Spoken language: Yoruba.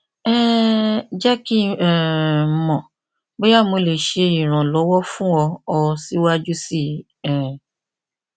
um jẹ ki um n mọ boya mo le ṣe iranlọwọ fun ọ ọ siwaju sii um